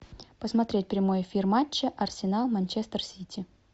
посмотреть прямой эфир матча арсенал манчестер сити